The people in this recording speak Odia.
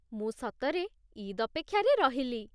ମୁଁ ସତରେ ଇଦ୍ ଅପେକ୍ଷାରେ ରହିଲି ।